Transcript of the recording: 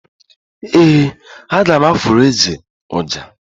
ee, a ga m afụra eze ọjà.